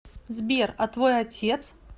сбер а твой отец